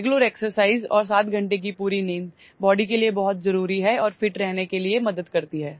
regular exercise और 7 घंटे की पूरी नींद बॉडी के लिए बहुत जरूरी है और फिट रहने के लिए मदद करती है